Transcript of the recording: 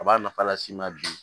A b'a nafa las'i ma bi